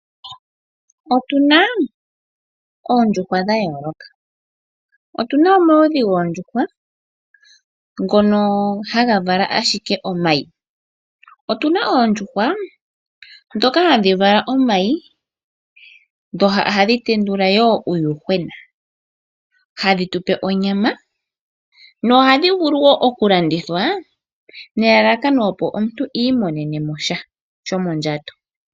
Otu na oondjuhwa dha yooloka. Otu na omaludhi goondjuhwa ngono haga vala ashike omayi. Otu na oondjuhwa hadhi vala omayi, dho ohadhi tendula wo uuyuhwena, hadhi tu pe onyama nohadhi vulu wo okulandithwa nelalakano opo omuntu imonene mo sha shomondjato.